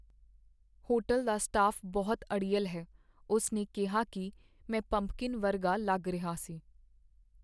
Hotel ਦਾ staff ਬਹੁਤ ਅੜੀਅਲ ਹੈ। ਉਸ ਨੇ ਕਿਹਾ ਕੀ ਮੈਂ ਪੰਪਕਿੰਨ ਵਰਗਾ ਲੱਗ ਰਿਹਾ ਸੀ।